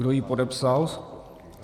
Kdo ji podepsal?